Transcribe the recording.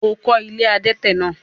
o kọ́ “ilé adẹ́tẹ̀” náà?